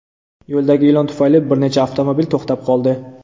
Yo‘ldagi ilon tufayli bir necha avtomobil to‘xtab qoldi.